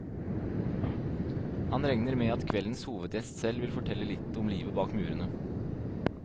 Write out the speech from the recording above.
Han regner med at kveldens hovedgjest selv vil fortelle litt om livet bak murene.